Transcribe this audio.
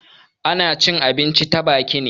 Ana cin abinci ta baki ne.